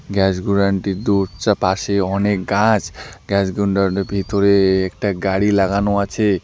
Gas godown -টির দু চা পাশে অনেক গাছ গ্যাস গোডাউন -টির ভিতরে একটা গাড়ি লাগানো আছে।